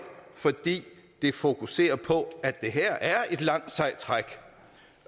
fordi det fokuserer på at det her er et langt sejt træk